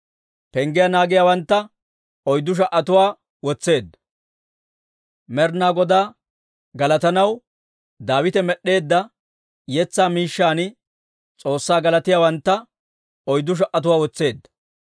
Penggiyaa naagiyaawantta oyddu sha"atuwaa wotseedda. Med'inaa Godaa galatanaw Daawite med'd'eedda yetsaa miishshan S'oossaa galatiyaawantta oyddu sha"atuwaa wotseedda.